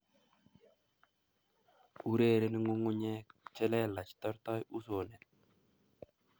Urereni ngungunyek che lelach tortoi usonet